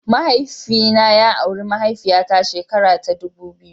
Mahaifina ya auri mahaifiya ta shekara ta dubu biyu.